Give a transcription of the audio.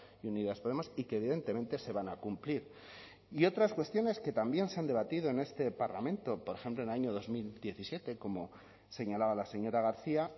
y unidas podemos y que evidentemente se van a cumplir y otras cuestiones que también se han debatido en este parlamento por ejemplo en el año dos mil diecisiete como señalaba la señora garcia